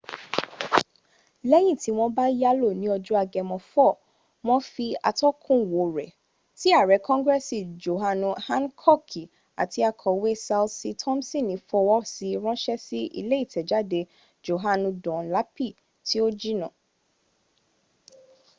lẹ́yìn tí wọ́n bá yálò ní ọjọ́ agemo 4 wọn fi atọ́kùnwò rẹ̀ ti àrẹ kongresi johanu hankoki àti akọ̀we ṣalsi tomsini fọwọ́sí ránṣẹ́ sí ilé ìtẹ̀jáde johanu dunlapi tí ò jìnà